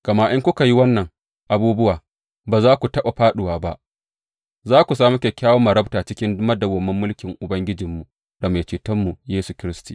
Gama in kuka yi waɗannan abubuwa, ba za ku taɓa fāɗuwa ba, za ku sami kyakkyawar marabta cikin madawwamin mulkin Ubangijinmu da Mai Cetonmu Yesu Kiristi.